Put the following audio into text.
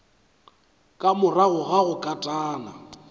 ka morago ga go katana